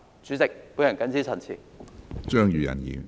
主席，我謹此陳辭。